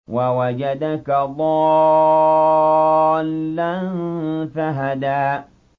وَوَجَدَكَ ضَالًّا فَهَدَىٰ